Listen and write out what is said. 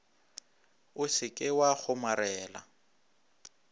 o se ke wa kgomarela